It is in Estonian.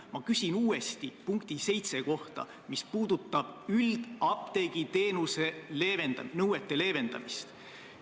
Ma küsin uuesti 7. punkti kohta, mis puudutab üldapteegiteenuse nõuete leevendamist.